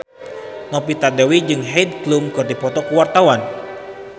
Novita Dewi jeung Heidi Klum keur dipoto ku wartawan